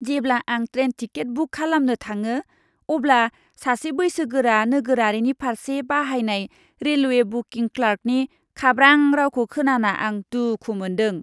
जेब्ला आं train ticket book खालामनो थाङो अब्ला सासे बैसोगोरा नोगोरारिनि फारसे बाहायनाय रेलवे बुकिं क्लार्कनि खाब्रां रावखौ खोनाना आं दुखु मोन्दों।